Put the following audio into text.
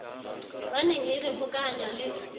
baneng e re hokahanya le